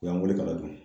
U y'an wele k'a dun